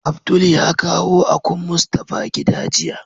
Abdul ya kawo akun Mustapha gida jiya.